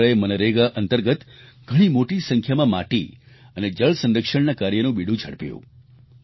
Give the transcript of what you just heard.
જિલ્લા તંત્રએ મનરેગા અંતર્ગત ઘણી મોટી સંખ્યામાં માટી અને જળ સંરક્ષણના કાર્યનું બીડું ઝડપ્યું